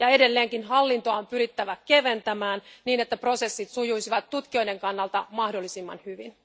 Hallintoa on edelleenkin pyrittävä keventämään, niin että prosessit sujuisivat tutkijoiden kannalta mahdollisimman hyvin.